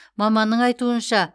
маманның айтуынша